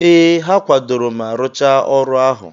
Ee, ha kwadoro ma rụchaa ọrụ ahụ.